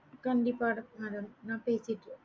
கண்டிப்பா இருக்கு madam நான் பேசிக்கறேன்